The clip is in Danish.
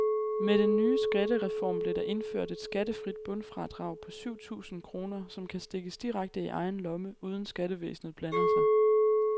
Med den nye skattereformen blev der indført et skattefrit bundfradrag på syv tusind kroner, som kan stikkes direkte i egen lomme, uden skattevæsenet blander sig.